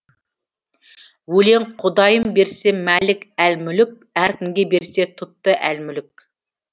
өлең құдайым берсе малик әл мүлік әркімге берсе тұтты әл мүлік